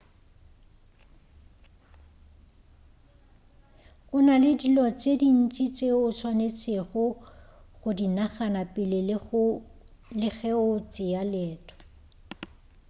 gona le dilo tše dintši tšeo o swanetšego go di nagana pele le ge o tšea leeto